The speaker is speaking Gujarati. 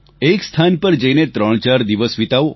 એક સ્થાન પર જઈને ત્રણ દિવસ ચાર દિવસ વિતાવો